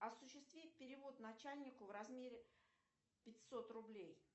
осуществить перевод начальнику в размере пятьсот рублей